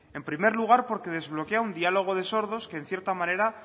en primer lugar porque desbloquear un diálogo de sordos que en cierta manera